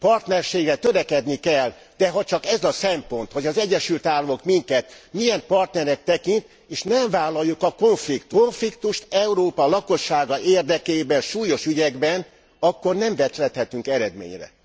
Partnerségre törekedni kell, de ha csak ez a szempont, hogy az Egyesült Államok minket milyen partnernek tekint, és nem vállaljuk a konfliktust Európa lakossága érdekében, súlyos ügyekben akkor nem juthatunk eredményre.